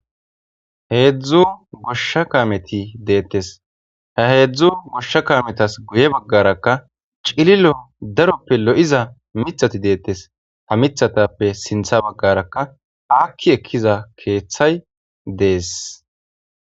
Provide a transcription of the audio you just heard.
Hedzu gosha kameti detese ha hedzu gosha kametape guye bagara cililo darope lo'iza mithati deteseha mithatape sintha bagaraka aki ekiza kethay dese